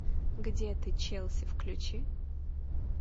где ты челси включи